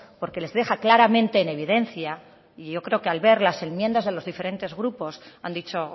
porque les deja claramente en evidencia y yo creo que al ver las enmiendas de los diferentes grupos han dicho